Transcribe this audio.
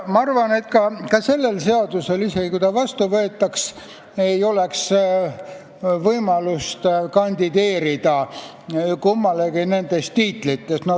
Ma arvan, et ka sellel seadusel, isegi kui ta vastu võetaks, ei oleks võimalust kandideerida kummalegi nendest tiitlitest.